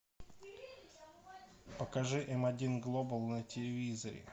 покажи м один глобал на телевизоре